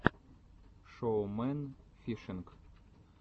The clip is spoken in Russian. шоу мэн фишинг